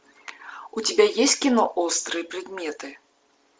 у тебя есть кино острые предметы